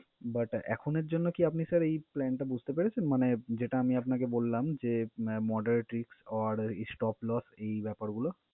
But এখনের জন্য কী আপনি sir এই plan টা বুঝতে পেরেছেন মানে যেটা আমি আপনাকে বললাম যে moderate risk or stop loss এই ব্যাপারগুলো?